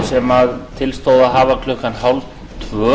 sem til stóð að hafa klukkan hálftvö